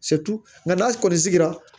nka n'a kɔni sigira